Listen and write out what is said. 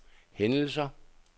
hændelser